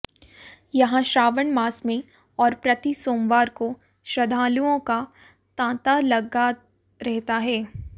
यहां श्रावण मास में और प्रति सोमवार को श्रद्धालुओं का तांता लगा रहता है